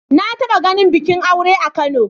Na taɓa ganin bikin aure a Kano.